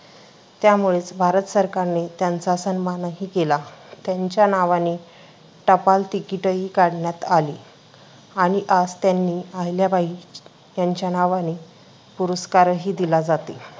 त्यामुळेच भारत सरकारने त्यांचा सन्मानही केला, त्यांच्या नावाने टपाल तिकीटही काढण्यात आले आणि आज त्यांनी अहिल्याबाई यांच्या नावाने पुरस्कारही दिला जाते.